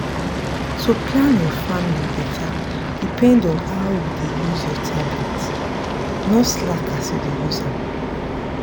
to plan your family better depend on how you dey use your tablet. no slack as you dey use am.